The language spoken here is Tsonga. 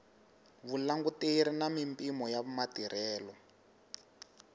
vulanguteri na mimpimo ya matirhelo